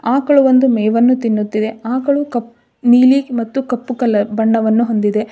ಆಕಳು ಒಂದು ಮೇವನ್ನು ತಿನ್ನುತ್ತಿದೆ ಆಕಳು ಕಪ್ಪ್ ನೀಲಿ ಮತ್ತು ಕಪ್ಪು ಕಲರ್ ಬಣ್ಣವನ್ನು ಹೊಂದಿದೆ.